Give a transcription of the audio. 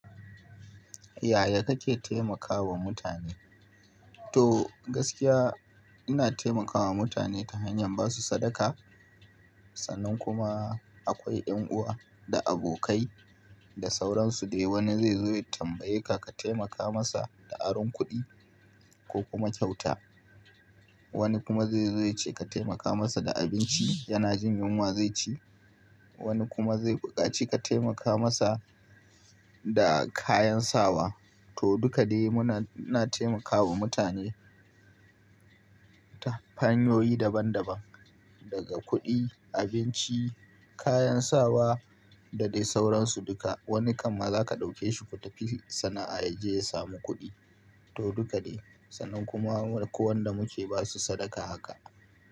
Yaya kake taimakawa mutane? To gaskiya ina taimakawa mutane ta hanyar basu sadaka. Sannan kuma akwai 'yan'uwa da abokai da sauransu dai wani zai zo ya tambaye ka ka taimaka masa da aron kuɗi ko kuma kyauta. Wani kuma zai zo yace ka taimaka masa da abinci, yana jin yunwa zai ci. Wani kuma zai buƙaci ka taimaka masa da kayan sawa. To dukka dai muna, ina taimakawa mutane ta hanyoyi daban-daban daga kuɗi, abinci, kayan sawa da dai sauransu duka. Wani kamma za ka ɗauke shi ku tafi sana'a ya je ya samu kuɗi. To duka dai. Sannan kuma ko wanda muke ba su sadaka haka.